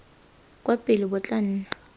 kwa pele bo tla nna